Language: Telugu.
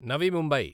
నవి ముంబై